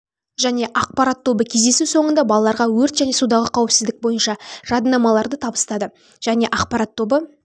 және ақпарат тобы кездесу соңында балаларға өрт және судағы қауіпсіздік бойынша жадынамаларды табыстады және ақпарат тобы